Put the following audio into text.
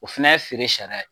O fɛnɛ ye feere sariya ye.